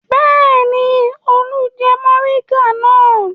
Bẹ́ẹ̀ ni, Olú jẹ mòríngà náà.